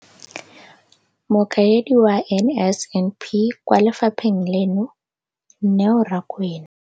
Mokaedi wa NSNP kwa lefapheng leno, Neo Rakwena.